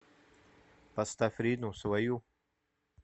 поставь рину свою